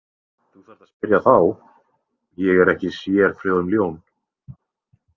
Þú þarft að spyrja þá, ég er ekki sérfróð um ljón.